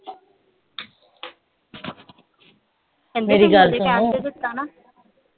ਮੇਰੀ ਗੱਲ ਸੁਣ